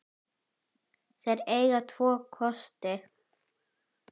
Þeir eiga tvo kosti.